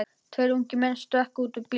Tveir ungir menn stökkva út úr bílnum.